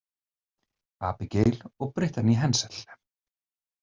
Abigail og Brittany Hensel.